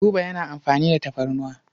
Buba yana amfani da tafarnuwa.